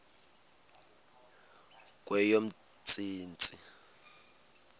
kweyomntsintsi